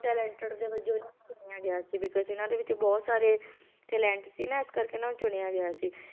Talented ਦੇ ਵਜੋਂ ਇਹ ਚੁਣਿਆ ਗਿਆ ਸੀ because ਇਹਨਾਂ ਦੇ ਵਿੱਚ ਬਹੁਤ ਸਾਰੇ talent ਸੀ ਨਾ ਇਸ ਕਰਕੇ ਇਹਨਾਂ ਨੂੰ ਚੁਣਿਆ ਗਿਆ ਸੀ